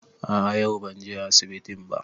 A'a yau ban je asibiti ba